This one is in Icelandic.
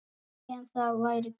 En það væri gaman.